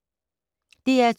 DR2